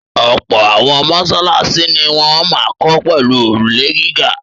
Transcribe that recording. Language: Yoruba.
Ọ̀pọ̀ àwọn mọ́ṣáláṣí ni wọ́n máa ń kọ́ pẹ̀lú òrùlé gíga.